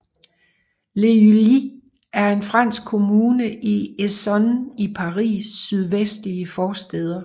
Les Ulis er en fransk kommune i Essonne i Paris sydvestlige forstæder